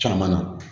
Caman na